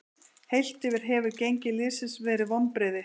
Heilt yfir hefur gengi liðsins verið vonbrigði.